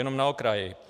Jenom na okraj.